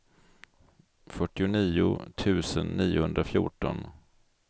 fyrtionio tusen niohundrafjorton